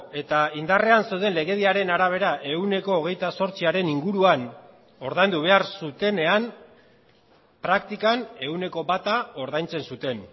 eta indarrean zeuden legediaren arabera ehuneko hogeita zortziaren inguruan ordaindu behar zutenean praktikan ehuneko bata ordaintzen zuten